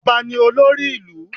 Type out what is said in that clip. Ọba ni olórí ìlú.